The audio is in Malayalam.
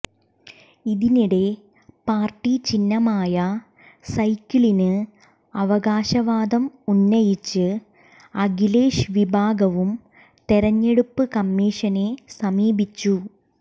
ഇതിനിടെ പാര്ട്ടി ചിഹ്നമായ സൈക്കിളിന് അവകാശവാദം ഉന്നയിച്ച് അഖിലേഷ് വിഭാഗവും തെരഞ്ഞെടുപ്പ് കമ്മീഷനെ സമീപിച്ചു